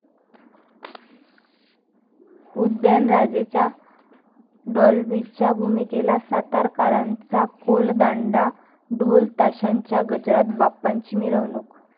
उदयनराजेंच्या डाॅल्बीच्या भूमिकेला सातारकरांचा कोलदांडा, ढोलताशाच्या गजरात बाप्पांची मिरवणूक